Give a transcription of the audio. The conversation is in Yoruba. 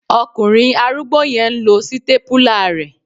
Ọkùnrin arúgbó yẹn n lo sítépúlà rẹ